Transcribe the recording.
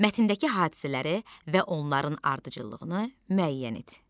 Mətndəki hadisələri və onların ardıcıllığını müəyyən et.